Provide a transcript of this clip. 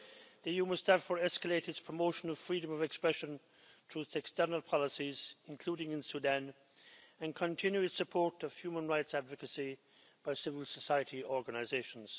The EU must therefore escalate its promotion of freedom of expression through its external policies, including in Sudan, and continue its support of human rights advocacy by civil society organisations.